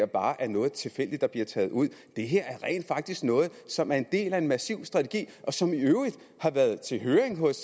bare er noget tilfældigt der bliver taget ud det her er rent faktisk noget som er en del af en massiv strategi og som i øvrigt har været til høring hos